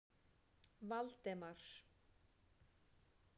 Valdemar